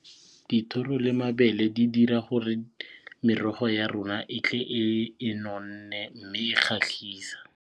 Dithoro le mabele di dira gore merogo ya rona e tle e nonne mme e kgatlhisa.